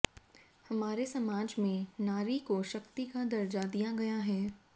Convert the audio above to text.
हमारे समाज में नारी को शक्ति का दर्जा दिया गया है